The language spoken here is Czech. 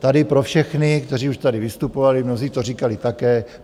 Tady pro všechny, kteří už tady vystupovali, mnozí to říkali také.